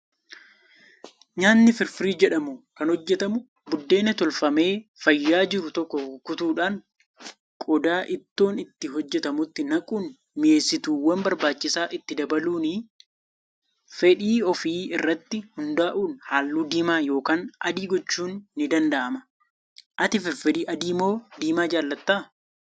Nyaatni firfirii jedhamu kan hojjatamu buddeena tolfamee fayyaa jiru tokko kukkutuudhaan qodaa ittoon itti hojjatamutti naquun mi'eessituuwwan barbaachisaa itti dabaluuni. Fedhii ofii irratti hundaa'uun halluu diimaa yookaan adii gochuun ni danda'ama. Ati firfirii adii moo diimaa jaallatta?